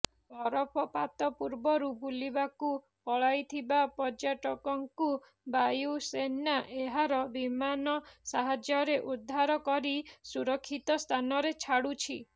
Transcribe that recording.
ବରଫପାତ ପୂର୍ବରୁ ବୁଲିବାକୁ ପଳାଇଥିବା ପର୍ଯ୍ୟଟକଙ୍କୁ ବାୟୁସେନା ଏହାର ବିମାନ ସାହାଯ୍ୟରେ ଉଦ୍ଧାର କରି ସୁରକ୍ଷିତ ସ୍ଥାନରେ ଛାଡୁଛି